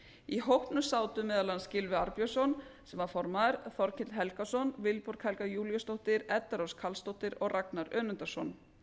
í hópnum sátu meðal annars gylfi arnbjörnsson sem var formaður þorkell helgason vilborg helga júlíusdóttir edda rós karlsdóttir og ragnar önundarson